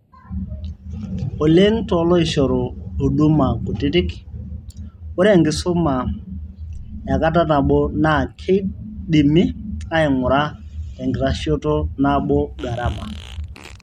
Oleng' tooloishoru huduma kutitik, ore enkisuma ekata nabo naa keidimi aing'ura tenkitashito nabo garama.